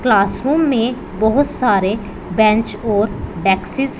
classroom में बहोत सारे बेंच और बैक्सेस--